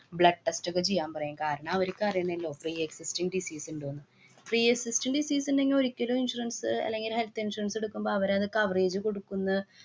blood test ഒക്കെ ചെയ്യാന്‍ പറയും. കാരണം അവര്‍ക്ക് അറിയണല്ലൊ pre-existing disease ഇണ്ടോന്ന്. Pre-existing disease ഇണ്ടെങ്കി ഒരിക്കലും insurance അ് അല്ലെങ്കില് health insurance ഇടുക്കുമ്പോ അവരത് coverage കൊടുക്കുന്ന്